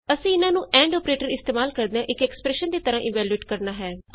ਅਸੀਂ ਇਹਨਾਂ ਨੂੰ ਐਂਡ ਅੋਪਰੇਟਰ ਇਸਤੇਮਾਲ ਕਰਦਿਆਂ ਇਕ ਐਕਸਪਰੈਸ਼ਨ ਦੀ ਤਰ੍ਹਾਂ ਇਵੈਲਯੂਏਟ ਕਰਨਾ ਹੈ